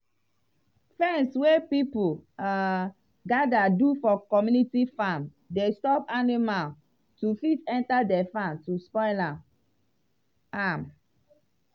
fence wey people um gather do for community farm dey stop animal to fit enter de farm to spoil am. am.